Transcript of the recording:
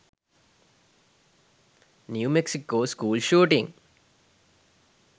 new mexico school shooting